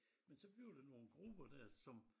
Men så bliver der nogen grupper der som